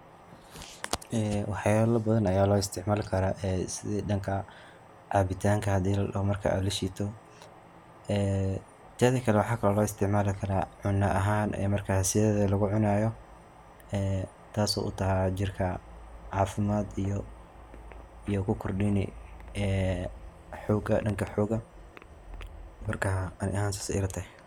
Ee waxyala badan aya lo isticmaali kara ee sida dhanka cabitanka hadi ladaho marki aad lashiito ee teda kale waxaa kalo lo isticmaali karaa cuno ahaan in markas sideda lagucunayo ee taasi oo taha jirka caafimad iyo ku kordhini ee xoga dhanka xoga marka ani ahaan sas ay ila tahay.